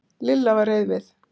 Lilla var reið við